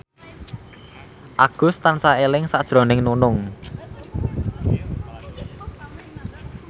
Agus tansah eling sakjroning Nunung